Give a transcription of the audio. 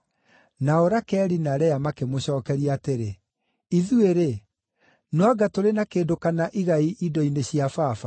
Nake Rakeli na Lea makĩmũcookeria atĩrĩ, “Ithuĩ-rĩ, no anga tũrĩ na kĩndũ kana igai indo-inĩ cia baba?